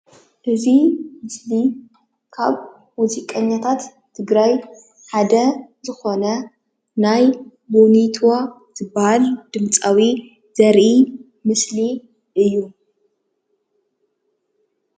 እዚ ምስሊ ካብ ሙዚቀኛታት ትግራይ ሓደ ዝኾነ ናይ ቦኒትዋ ዝበሃል ድምፃዊ ዘርኢ ምስሊ እዩ፡፡